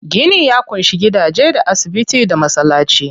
Gini ya ƙunshi gidaje, da asibiti, da masallaci.